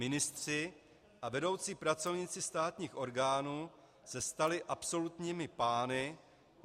Ministři a vedoucí pracovníci státních orgánů se stali absolutními pány.